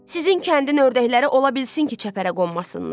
Sizin kəndin ördəkləri ola bilsin ki, çəpərə qonmasınlar.